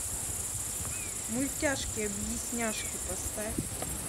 мультяшки объясняшки поставь